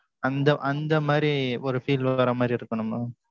அந்த அந்த மாரி, ஒரு feel வர மாதிரி இருக்கணும் mam.